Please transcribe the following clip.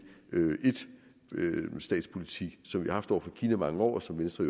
enstatspolitik som vi har haft over for kina i mange år og som venstre